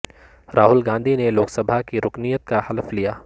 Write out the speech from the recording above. راہل گاندھی نے لوک سبھا کی رکنیت کا حلف لیا